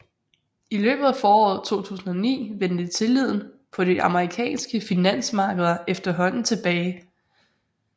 I løbet af foråret 2009 vendte tilliden på de amerikanske finansmarkeder efterhånden tilbage